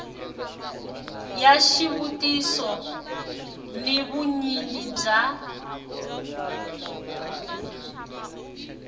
ya xivutiso ni vunyingi bya